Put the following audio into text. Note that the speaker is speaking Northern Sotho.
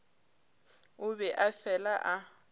o be a fela a